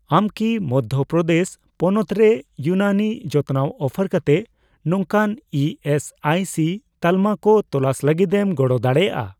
ᱟᱢ ᱠᱤ ᱢᱚᱫᱽᱫᱷᱚ ᱯᱨᱚᱫᱮᱥ ᱯᱚᱱᱚᱛ ᱨᱮ ᱤᱭᱩᱱᱟᱱᱤ ᱡᱚᱛᱱᱟᱣ ᱚᱯᱷᱟᱨ ᱠᱟᱛᱮ ᱱᱚᱝᱠᱟᱱ ᱤ ᱮᱥ ᱟᱭ ᱥᱤ ᱛᱟᱞᱢᱟ ᱠᱚ ᱛᱚᱞᱟᱥ ᱞᱟᱹᱜᱤᱫᱮᱢ ᱜᱚᱲᱚ ᱫᱟᱲᱮᱭᱟᱜᱼᱟ ᱾